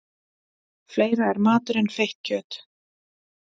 Fleira er matur en feitt kjöt.